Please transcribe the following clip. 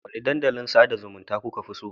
Wanne dandalin sada zumunta kuka fi so?